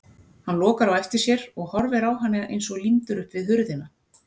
Hann lokar á eftir sér og horfir á hana eins og límdur upp við hurðina.